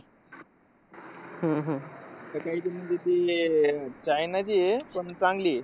हम्म हम्म सकाई म्हणजे ते अह चायनाची आहे, पण चांगली आहे.